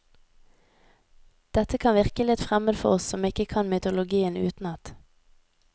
Dette kan virke litt fremmed for oss som ikke kan mytologien utenat.